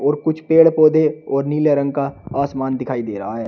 और कुछ पेड़ पौधे और नीले रंग का आसमान दिखाई दे रहा है।